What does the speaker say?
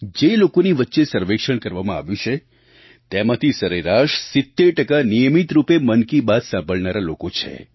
જે લોકોની વચ્ચે સર્વેક્ષણ કરવામાં આવ્યું છે તેમાંથી સરેરાશ 70 ટકા નિયમિત રૂપે મન કી બાત સાંભળનારા લોકો છે